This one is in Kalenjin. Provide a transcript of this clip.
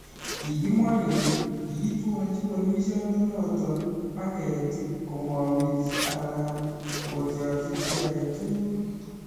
Kigimwa kele kiitwolchi polisiondonoton pageet komowrchi alan ko torchi chi agetugul